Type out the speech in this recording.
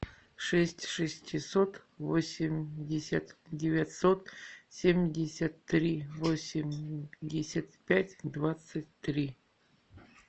шесть шестьсот восемьдесят девятьсот семьдесят три восемьдесят пять двадцать три